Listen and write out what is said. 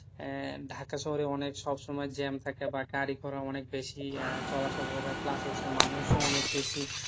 আহ ঢাকা শহরে অনেক সবসময় jam থাকে বা গাড়ি ঘোড়া অনেক বেশি আহ চলাচল করে plus হচ্ছে মানুষ ও অনেক বেশি।